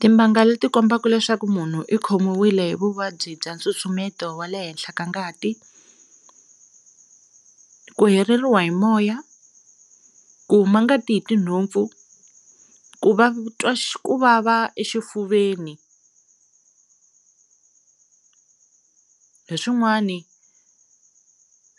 Timbanga leti kombaka leswaku munhu i khomiwile hi vuvabyi bya nsusumeto wa le henhla ka ngati, ku heleriwa hi moya, ku huma ngati hi tinhompfu, ku va u twa ku vava exifuveni, hi swin'wana